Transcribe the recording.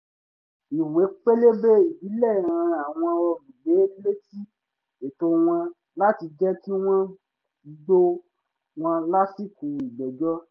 ìwé pélébé ìbílẹ̀ rán àwọn olùgbé létí ẹ̀tọ́ wọn láti jẹ̀ kí wọ́n gbọ́ wọn lásìkò ìgbẹ́jọ́